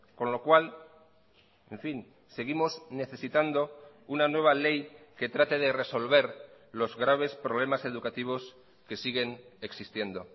con lo cual en fin seguimos necesitando una nueva ley que trate de resolver los graves problemas educativos que siguen existiendo